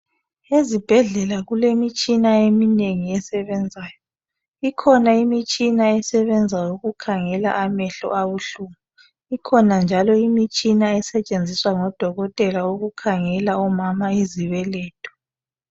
Ezibhedlela kulemitshina eminengi esebenzayo. Ikhona imitshina esebenza ukukhangela amehlo abuhlungu. Ikhona njalo imitshina esetshenziswa ngodokotela ukukhangela omama izibeletho.